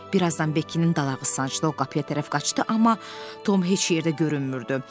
Bir azdan Bekkinin dalağı sancdı, o qapıya tərəf qaçdı, amma Tom heç yerdə görünmürdü.